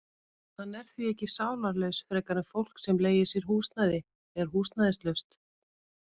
Hann er því ekki sálarlaus frekar en fólk sem leigir sér húsnæði er húsnæðislaust.